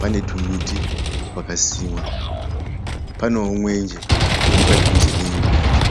pane tumiti twaka simwa. Panewo mwenje uri padhuze neimba yacho.